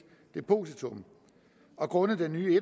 depositum og grundet den nye en